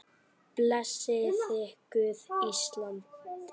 Blessaði Guð Ísland?